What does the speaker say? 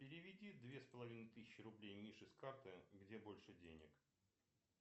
переведи две с половиной тысячи рублей мише с карты где больше денег